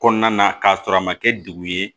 Kɔnɔna na k'a sɔrɔ a ma kɛ degu ye